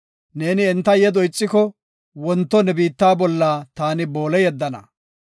Neeni enta yedo ixiko, wonto ne biitta bolla taani boole yeddana.